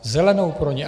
Zelenou pro ně.